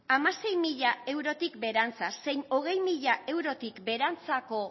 hamasei mila eurotik beherantza zein hogei mila eurotik beherantzako